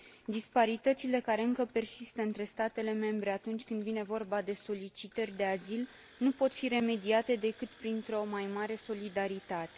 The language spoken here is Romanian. Disparitățile care încă persistă între statele membre atunci când vine vorba de solicitări de azil nu pot fi remediate decât printr o mai mare solidaritate.